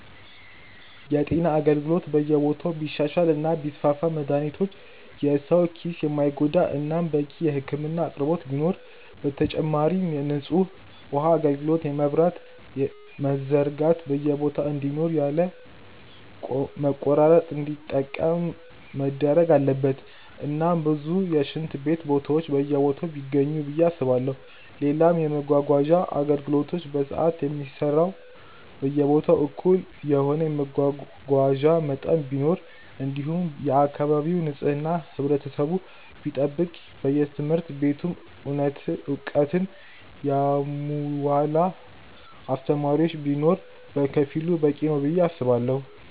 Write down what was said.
የጤና አገልግሎት በየቦታው ቢሻሻል እና ቢስፋፋ መድሃኒቶች የሰው ኪስ የማይጎዳ እናም በቂ የህክምና አቅርቦት ቢኖር፣ በተጨማሪም ንጹህ ውሃ አጋልግሎት የመብራትም መዘርጋት በየቦታ እንዲኖር ያለ መቆራረጥ እንዲጠቀም መደረግ አለበት እናም ብዙ የሽንት ቤት ቦታዎች በየቦታው ቢገኙ ብዬ አስባለው፣ ሌላም የመመጓጓዣ አገልግሎት በሰዓት የሚሰራ በየቦታው እኩል የሆነ የመጓጓዣ መጠን ቢኖር እንዲሁም የአካባቢ ንጽህና ህብረተሰቡ ቢጠብቅ በየትምህርት ቤቱም እውቀትን ያሙዋላ አስተማሪዎች ቢኖር በከፊሉ በቂ ነው ብዬ አስባለው።